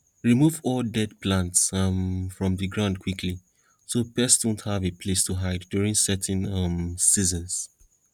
remove all dead plants um from the ground quickly so pests wont have a place to hide during certain um seasons